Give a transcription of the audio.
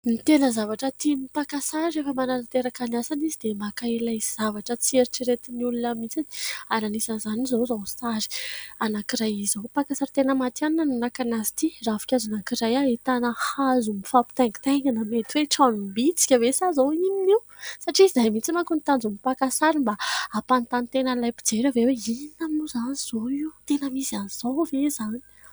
Ny tena zavatra tian'ny mpaka sary rehefa manatanteraka ny asany izy dia maka ilay zavatra tsy eritreretin'ny olona mihitsy ary anisan'izany izao izao sary anankiray izao. Mpaka sary tena matihanina no naka anazy ity : ravinkazo anankiray ahita hazo mifampitaingitaingina, mety hoe tranom-bitsika ve sa izao inona io ? Satria izay mihitsy manko no tanjon'ny maka sary mba ahampanontany tena an'ilay mijery avy eo hoe inona mo izany izao io ? Tena misy an'izao ve moa izany?